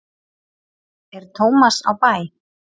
er tómas á bæ